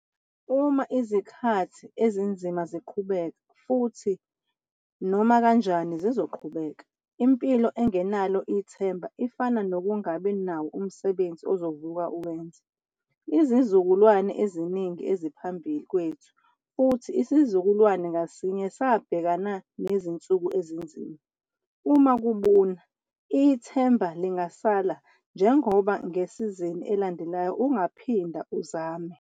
Uma izikhathi ezinzima ziqhubeka, futhi nomakanjani zizoqhubeka! Impilo engenalo ithemba ifana nokungabi nawo umsebenzi uzovuka uwenze. Izizukulwane eziningi eziphambi kwethu futhi isizukulwane ngasinye sabhekana nezinsuku ezinzima. Uma kubuna, ithemba lingasala njengoba ngesizini elandelayo ungaphinda uzame.